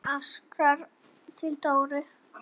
Hún arkaði til Dóru.